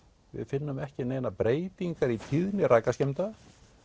við finnum ekki neinar breytingar í tíðni rakaskemmda